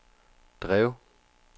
drev